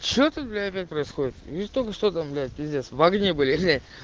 что ты блять опять происходит только что там блять пиздец в огне были глянь